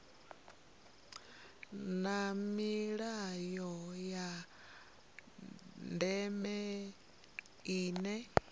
na milayo ya ndeme ine